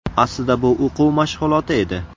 Aslida bu o‘quv mashg‘uloti edi.